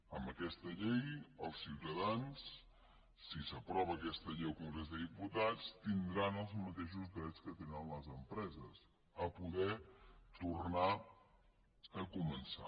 amb aquesta llei els ciutadans si s’aprova aquesta llei al congrés dels diputats tindran els mateixos drets que tenen les empreses a poder tornar a començar